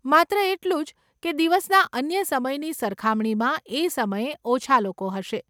માત્ર એટલું જ કે દિવસના અન્ય સમયની સરખામણીમાં એ સમયે ઓછાં લોકો હશે.